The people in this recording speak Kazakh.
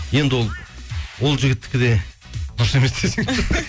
енді ол ол жігіттікі де дұрыс емес